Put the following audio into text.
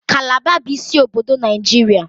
Kalaba bụ isi obodo Nigeria